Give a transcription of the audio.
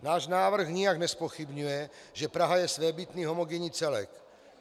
Náš návrh nijak nezpochybňuje, že Praha je svébytný homogenní celek.